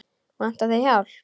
Vantar þig hjálp?